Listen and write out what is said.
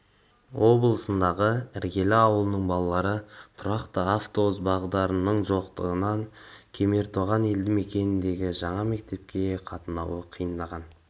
облысындағы іргелі ауылының балалары тұрақты автобус бағдарының жоқтығынан кемертоған елді мекеніндегі жаңа мектепке қатынауы қиындаған